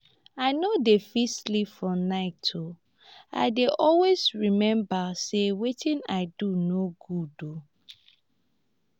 i no dey fit sleep for night um i dey always remember say wetin i do no good um